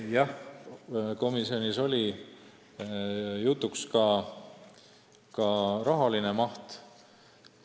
Jah, komisjonis oli jutuks ka ettevõtmise rahaline maht.